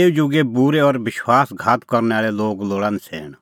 एऊ जुगे बूरै और विश्वास घात करनै आल़ै लोग लोल़ा नछ़ैण